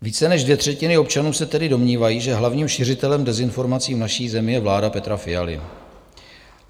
Více než dvě třetiny občanů se tedy domnívají, že hlavním šiřitelem dezinformací v naší zemi je vláda Petra Fialy.